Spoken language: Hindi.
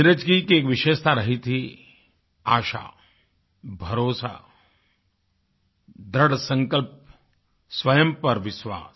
नीरज जी की एक विशेषता रही थी आशा भरोसा दृढसंकल्प स्वयं पर विश्वास